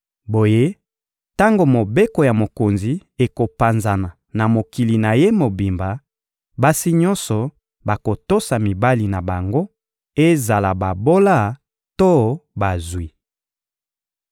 Boye tango mobeko ya mokonzi ekopanzana na mokili na ye mobimba, basi nyonso bakotosa mibali na bango, ezala babola to bazwi.